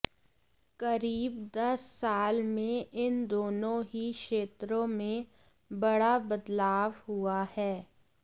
करीब दस साल में इन दोनों ही क्षेत्रों में बड़ा बदलाव हुआ है